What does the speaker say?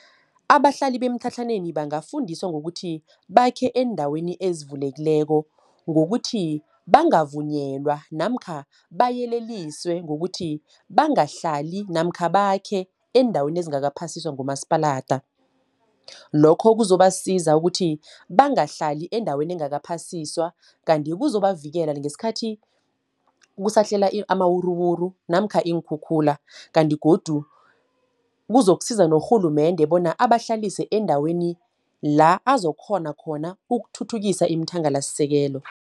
Abahlali bemtlhatlhaneni bangafundiswa ngokuthi, bakhe eendaweni ezivulekileko. Ngokuthi bangavunyelwa, namkha bayeleliswe ngokuthi, bangahlali namkha bakhe eendaweni ezingakaphasiswa ngumasipalada. Lokho kuzobasiza ukuthi, bangahlali eendaweni engakaphasiswa. Kanti kuzobavikela ngeskhathi kusahlela amawuruwuru namkha iinkhukhula. Kanti godu kuzokusiza norhulumende, bona abahlalise endaweni la azokghona khona ukuthuthukisa iimthangalasisekelo.